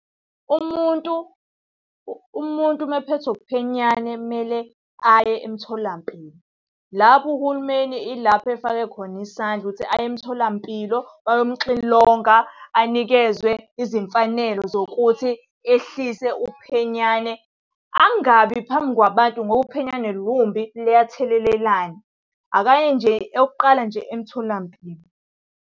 Umuntu, umuntu uma ephethwe uphenyane kumele aye emtholampilo. Lapho uhulumeni ilapho efake khona isandla ukuthi aye emtholampilo, bayomuxilonga, anikezwe izimfanelo zokuthi ehlise uphenyane. Angabi phambi kwabantu ngoba uphenyane lumbi luya thelelelana. Akaye nje okokuqala nje emtholampilo.